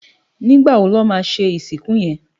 Nigbá wó lò má ṣé isikún yén?